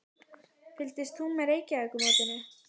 Fylgist þú með Reykjavíkurmótinu?